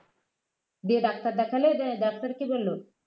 দিয়ে ডাক্তার দেখালে ডাক্তার কি বলল